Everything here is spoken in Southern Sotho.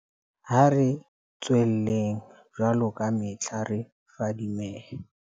Ha re tswelleng, jwaloka kamehla, re fadimehe.